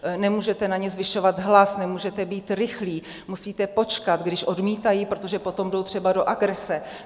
Nemůžete na ně zvyšovat hlas, nemůžete být rychlý, musíte počkat, když odmítají, protože potom jdou třeba do agrese.